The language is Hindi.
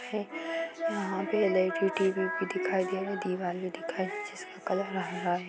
यहां पे एल_ई_डी टी_वी भी दिखाई दे रहा है दीवार भी दिखाई दे रहा है जिसका कलर हरा है।